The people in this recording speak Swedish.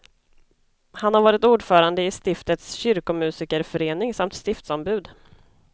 Han har varit ordförande i stiftets kyrkomusikerförening samt stiftsombud.